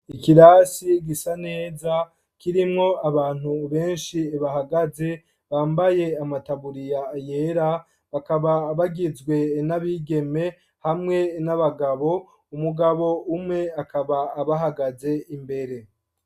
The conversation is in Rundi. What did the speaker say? Ikirasi gisa neza kirimwo abantu benshi bahagaze bambaye amataburiya yera, bakaba bagizwe n'abigeme hamwe n'abagabo, umugabo umwe akaba abahagaze imbere.